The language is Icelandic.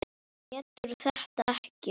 Getur þetta ekki.